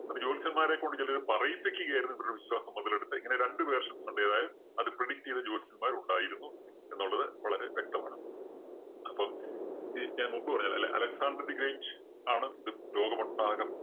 അപ്പോ ജ്യോത്സ്യന്മാരെ കൊണ്ട് ചെലര് പറയിപ്പിക്കുകയായിരുന്നു. ഇവരുടെ വിശ്വാസം മൊതലെടുത്ത് ഇങ്ങനെ രണ്ട് version ഉണ്ട്. ഏതായാലും അത് predict ചെയ്ത ജ്യോത്സ്യന്മാര്‍ ഉണ്ടായിരുന്നു എന്നുള്ളത് വളരെ വ്യക്തമാണ്. അപ്പം ഞാ~ഞാന്‍ മുമ്പ് പറഞ്ഞില്ലേ അല~അലക്സാണ്ടര്‍ the great ആണ് ഇത് ലോകമൊട്ടാകെ